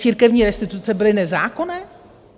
Církevní restituce byly nezákonné?